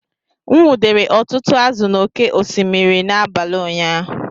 M nwudere ọtụtụ azụ̀ n’oké osimiri n’abalị ụnyaahụ